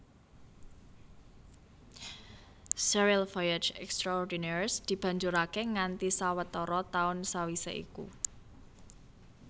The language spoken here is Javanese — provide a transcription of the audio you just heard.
Sérial Voyages extraordinaires dibanjuraké nganti sawetara taun sawisé iku